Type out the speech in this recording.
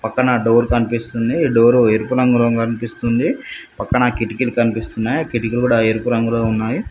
పక్కన డోర్ కనిపిస్తుంది ఈ డోరు ఎరుపు రంగులో కనిపిస్తుంది పక్కన కిటికీలు కనిపిస్తున్నాయి ఆ కిటికీలు కూడా ఎరుపు రంగులో ఉన్నాయి.